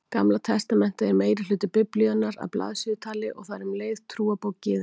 Gamla testamentið er meirihluti Biblíunnar að blaðsíðutali og það er um leið trúarbók Gyðinga.